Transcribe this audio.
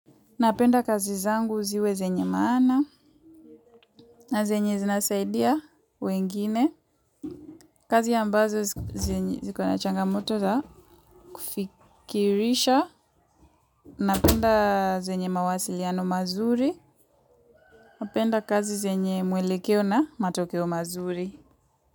Napenda kazi zangu ziwe zenye maana na zenye zinasaidia wengine. Kazi ambazo ziko na changamoto za kufikirisha. Napenda zenye mawasiliano mazuri. Napenda kazi zenye mwelekeo na matokeo mazuri.